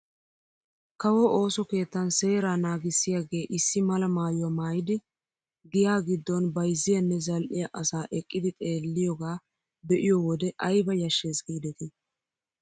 Kawo ooso keettan seeraa naagissiyaageissi mala maayuwa maayidi giyaa giddon bayzziyaanne zal"iyaa asaa eqqidi xeelliyooga be'iyoo wode ayba yashshees gidetii!